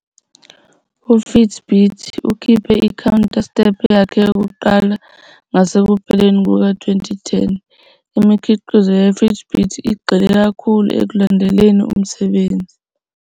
UFitbit ukhiphe i-counter step yakhe yokuqala ngasekupheleni kuka-2010, Imikhiqizo ye-Fitbit igxile ikakhulu ekulandeleleni umsebenzi.